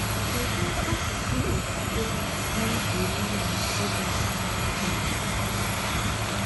Kedu akụkụ okwukwe na-egwuri na ịdọ aka ná ntị anyị?